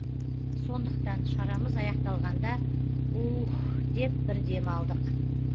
сондықтан шарамыз аяқталғанда уххх деп бір дем алдық